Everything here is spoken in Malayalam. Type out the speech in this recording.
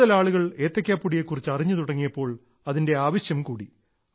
കൂടുതൽ ആളുകൾ ഏത്തയ്ക്കാപ്പൊടിയെ കുറിച്ച് അറിഞ്ഞു തുടങ്ങിയപ്പോൾ അതിന്റെ ആവശ്യം കൂടി